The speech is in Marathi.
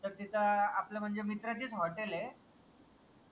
तर तिथं आपल्या म्हनजे मित्राचीच hotel ए